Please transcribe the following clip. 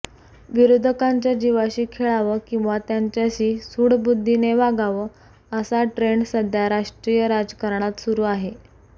विरोधकांच्या जीवाशी खेळावं किंवा त्यांच्याशी सूडबुद्दीने वागावं असा ट्रेन्ड सध्या राष्ट्रीय राजकारणात सुरु आहे